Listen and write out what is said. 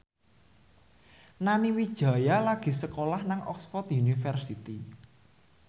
Nani Wijaya lagi sekolah nang Oxford university